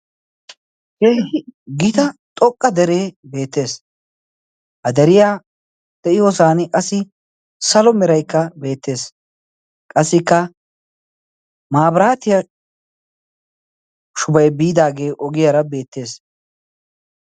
gita xoqqa deree beettees ha deriyaa de7iyoosan qassi salo meeraikka beettees qassikka maabiraatiyaa shubai biidaagee ogiyaara beettees